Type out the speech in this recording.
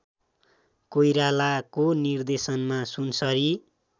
कोइरालाको निर्देशनमा सुनसरी